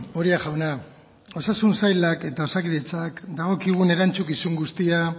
uria jauna osasun sailak eta osakidetzak dagokigun erantzukizun guztia